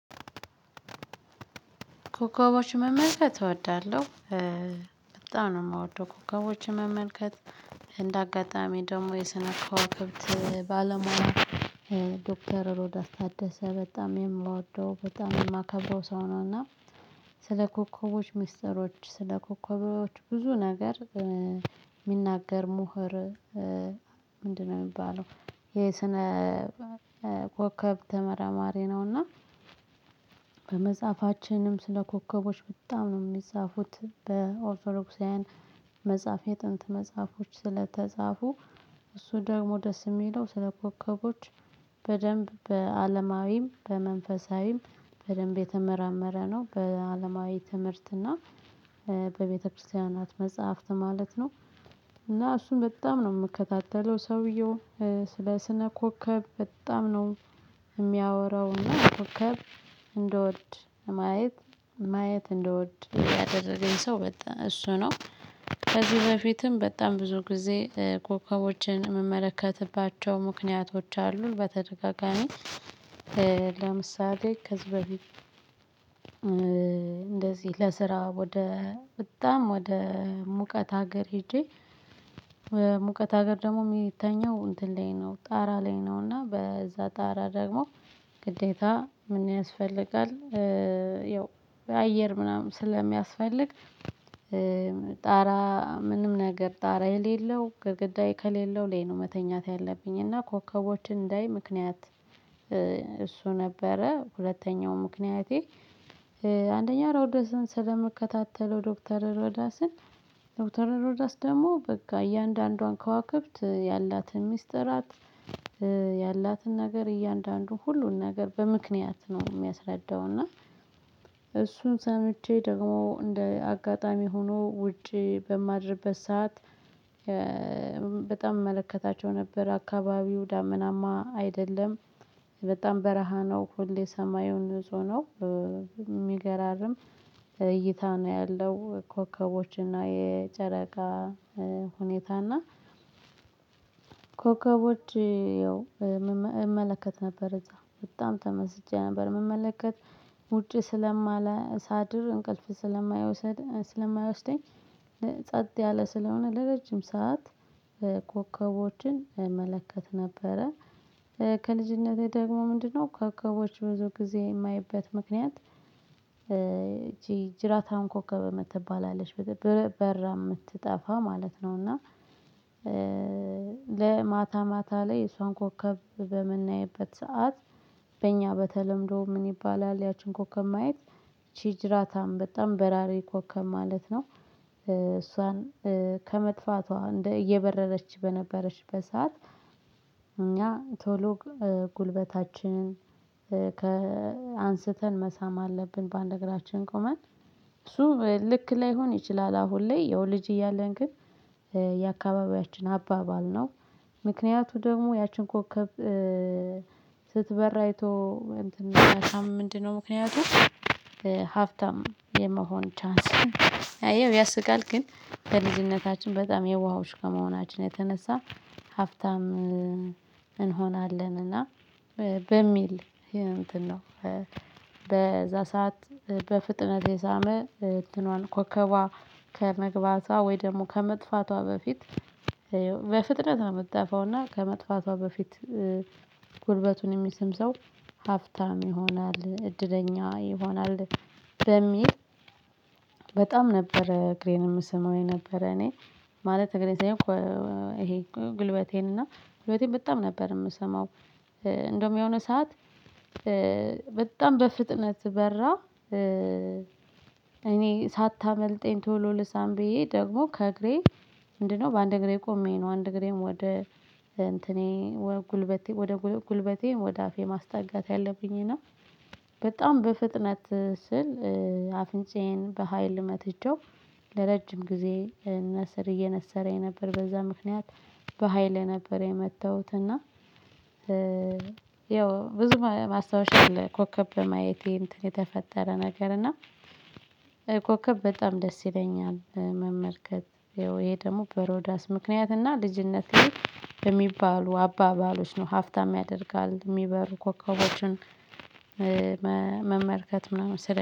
ኮከቦችን መመልከት እወዳለሁ። በጣም ነው የምወደው ኮከቦችን መመልከት እንደ አጋጣሚ ደግሞ የስነ ከዋክብት ባለሙያ። ዶክተር ሮዳስ ታደሰ በጣም የምወደው በጣም የማከበው ሰው ነው። እና ስለ ኮከቦች ሚስጥሮች ስለ ኮከቦች ብዙ ነገር የሚናገር ምሁር? ምንድነው የሚባለው የስነ ኮከብ ተመራማሪ ነውና። በመጽሐፋችንም ስለ ኮከቦች በጣም ነው የሚጻፉት በኦርቶዶክሳውያን መጽሐፍ የጥንት መጽሐፎች ስለተጻፉ እሱ ደግሞ ደስ የሚለው ስለ ኮከቦች። በደንብ በአለማዊም በመንፈሳዊም በደንብ የተመራመረ ነው በአለማዊ ትምህርትና በቤተክርስቲያናት መጽሐፍት ማለት ነው። እና እሱም በጣም ነው የምከታተለው ሰውየው። ስለ ስነ ኮከብ በጣም ነው የሚያወራው እና ኮከብ እንደወድ ማየት ማየት እንደወድ ያደረገኝ ሰው በጣ እሱ ነው። ከዚህ በፊትም በጣም ብዙ ጊዜ ኮከቦችን የምመለከትባቸው ምክንያቶች አሉን በተደጋጋሚ። ለምሳሌ ከዚ በፊት። እንደዚህ ለስራ ወደ በጣም ወደ ሙቀት ሀገር ሄጄ። ሙቀት ሀገር ደግሞ ሚተኘው እንትን ላይ ነው ጣራ ላይ ነው እና በዛ ጣራ ደግሞ ግዴታ ምን ያስፈልጋል? ያው በአየር ምናምን ስለሚያስፈልግ ጣራ ምንም ነገር ጣራ የሌለው ግድግዳዬ ከሌለው ላይ ነው መተኛት ያለብኝ እና ኮከቦችን እንዳይ ምክንያት። እሱ ነበረ ሁለተኛው ምክንያቴ። አንደኛ ሮዳስን ስለምከታተለው ዶክተር ሮዳስን ዶክተር ሮዳስ ደግሞ በጋ እያንዳንዷን ከዋክብት ያላትን ሚስጥራት። ያላትን ነገር እያንዳንዱ ሁሉን ነገር በምክንያት ነው የሚያስረዳው። እና እሱን ሰምቼ ደግሞ እንደ አጋጣሚ ሆኖ ውጪ በማድርበት ሰዓት። በጣም እመለከታቸው ነበር አካባቢው ዳምናማ አይደለም። በጣም በረሃ ነው ሁሌ ሰማዩ ንጹህ ነው። የሚገራርም እይታ ነው ያለው ኮከቦች እና የጨረቃ ሁኔታ እና። ኮከቦች ያው እመለከት ነበር እዛ በጣም ተመስጬ ነበር። ምመለከት ውጪ ስለማላ ሳድር እንቅልፍ ስለማይወሰድ ስለማይወስደኝ። ጸጥ ያለ ስለሆነ ለረጅም ሰዓት ኮከቦችን እመለከት ነበረ። ከልጅነቴ ደግሞ ምንድነው ኮከቦች ብዙ ጊዜ የማየበት ምክንያት? ጅራታም ኮከብ እምትባል አለች በረ በራ የምትጠፋ ማለት ነው። እና ለማታ ማታ ማታ ላይ እሷን ኮከብ በምናይበት ሰዓት። በእኛ በተለምዶ ምን ይባላል? ያችን ኮከብ ማየት ቺጅራታም በጣም በራሪ ኮከብ ማለት ነው። እሷን ከመጥፋቷ እንደ እየበረረች በነበረች በሰአት። እኛ ቶሎ ጉልበታችንን ከአንስተን መሳም አለብን ባንድ እግራችን ቆመን እሱ ልክ ላይሆን ይችላል አሁን ላይ ያው ልጅ እያለን ግን የአካባቢያችን አባባል ነው። ምክንያቱ ደግሞ ያችን ኮከብ ስትበር አይቶ እንትን የሚያሳም ምንድነው ምክንያቱ? ሀፍታም የመሆን ቻንስ እየው ያስቃል ግን በልጅነታችን በጣም የውሃዎች ከመሆናችን የተነሳ ሀፍብታም እንሆናለን እና በሚል እንትን ነው። በዛ ሰዓት በፍጥነት የሳመ እንትኗን ኮከቧ ከመግባቷ ወይ ደግሞ ከመጥፋቷ በፊት በፍጥነት ነው እምትጠፋው እና ከመጥፋቷ በፊት ጉልበቱን የሚስም ሰው ሀፍታም ይሆናል እድለኛ ይሆናል። በሚል በጣም ነበር እግሬን የምሰመው የነበረ እኔ ማለት እግሬን ሳይሆን ይሄ ጉልበቴን እና ጉልበቴን በጣም ነበር የምስመው። እንደውም የሆነ ሰዓት በጣም በፍጥነት በራ። እኔ ሳታመልጠኝ ቶሎ ልሳም ብዬ ደግሞ ከእግሬ ምንድነው በአንድ እግሬ ቆሜ ነው አንድ እግሬም ወደ እንትኔ ወደ ጉልበቴ ወደ ጉልበቴ ወደ አፌ ማስጠጋት ያለብኝ እና በጣም በፍጥነት ስል አፍንጫዬን በሃይል መትቸው። ለረጅም ጊዜ ነስር እየነሰረኝ ነበር በዛ ምክንያት በሃይል ነበር የመታውት እና። ያው ብዙ ማስታወሻ አለ ኮከብ በማየቴ እንትን የተፈጠረ ነገር እና። ኮከብ በጣም ደስ ይለኛል መመልከት ይኸው ይሄ ደግሞ በሮዳስ ምክንያት እና ልጅነቴ በሚባሉ አባባሎች ነው ሀፍታም ያደርጋል የሚበሩ ኮከቦችን። መመልከት ምናምን ስለ